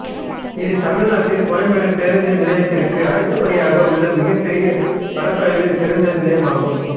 இது தமிழ்நாட்டில் கோயம்பேடு பேருந்து நிலையத்திற்கு அடுத்த படியாக உள்ள மிகப்பெரிய பரப்பளவில் பேருந்து நிலையமாகும்